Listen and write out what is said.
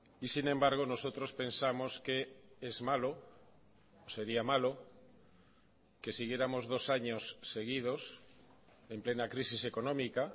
y sin embargo nosotros pensamos que es malo sería malo que siguiéramos dos años seguidos en plena crisis económica